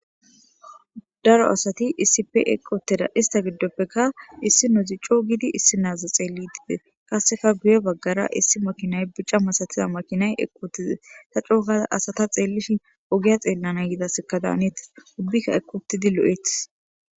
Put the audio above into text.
daro asati isipe eqoteda ista giddoppeka issi nozi co gidi issi naaza xeellidide qasseka guye baggara issi makinay bicca masatiza makinay eqotize ta cookaa asata xeellishi ogiya xeellana yidasekadaanet ubbikka eqotidi lo7eetis